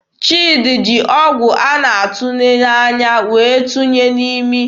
Chidi jiri ọgwụ a na-atụnye n'anya wee tụnye n'imi.